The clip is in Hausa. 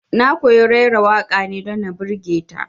Na koyi raira waƙa ne don na birge ta